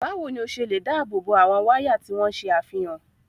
Báwo ni o ṣe lè dáàbò bo àwọn wáyà tí wọ́n ṣe àfihàn?